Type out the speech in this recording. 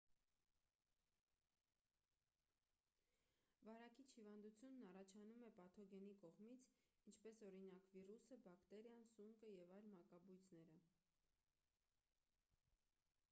վարակիչ հիվանդությունն առաջանում է պաթոգենի կողմից ինչպես օրինակ վիրուսը բակտերիան սունկը և այլ մակաբույծները